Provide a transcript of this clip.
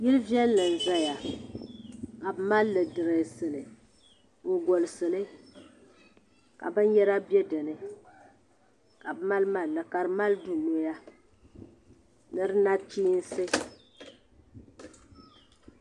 Yili viɛlli n zaya ka bi mali dirɛsi li n golisi li ka bin yara bɛ dini ka bi mali malli ka di mali duu noya ni du nachiinsi.